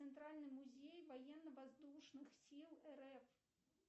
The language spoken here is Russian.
центральный музей военно воздушных сил рф